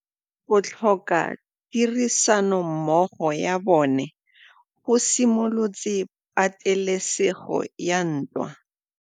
Go tlhoka tirsanommogo ga bone go simolotse patêlêsêgô ya ntwa.